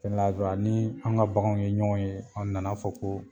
ni an ka bakanw ye ɲɔgɔn ye, aw nana fɔ ko